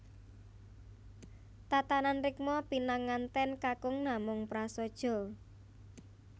Tatanan rikma pinangantèn kakung namung prasaja